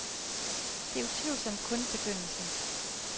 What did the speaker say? Det er utvivlsomt kun begyndelsen.